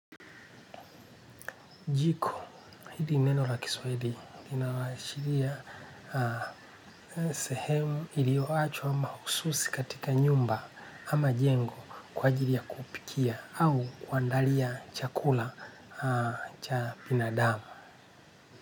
Jiko, hili ni neno la kiswahili linaashiria sehemu ilioachwa mahususi katika nyumba ama jengo kwa ajiri ya kupikia au kuandalia chakula cha binadamu.